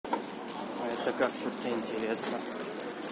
а это как-то вот мне интересно